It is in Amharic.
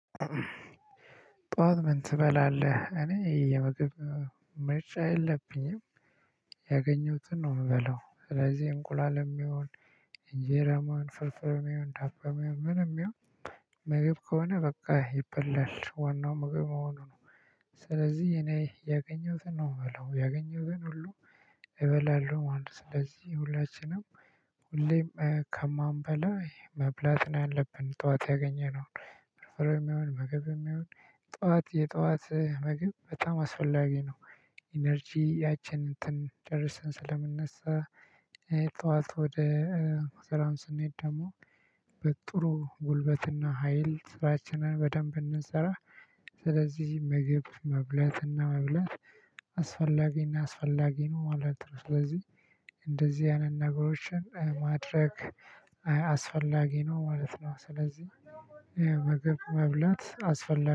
ጥዋት ምን ትበላለህ? እኔ የምግብ ምርጫ የለብኝም ያገኘሁትን ነው። እምበላው ስለዚህ እንቁላልም ይሁን እንጀራም ፍርፍርም ይሁን ዳቦም ይሁን ምንም ይሁን። ምግብ ከሆነ በቃ ይበልል ዋናው ምግብ መሆኑ ነው። ስለዚህ እኔ ያገኘሁትን ነው እምበላው ያገኘሁትን ሁሉ እበላለሁ ማለት ነው። ስለዚህ ሁላችንም ሁሌም ከማንበላ መብላት ነው ያለብን። ጥዋት ያገኘነውን ፍርፍርም ይሁን ምግብም ይሁን ጥዋት የጥዋት ምግብ በጣም አስፈላጊ ነው። ኢነርጂያችን እንትን ጨርሰን ስለምንነሳ ጥዋት ወደ ስራም ስንሄድ ደግሞ በጥሩ ጉልበትና ሀይል ስራችንን በደንብ እንድንሰራ። ስለዚህ ምግብ መብላት እና መብላት አስፈላጊ እና አስፈላጊ ነው ማለት ነው። ስለዚህ እንደዚህ አይነት ነገሮችን ማድረግ አስፈላጊ ነው ማለት ነው። ስለዚህ ምግብ መብላት አስፈላጊ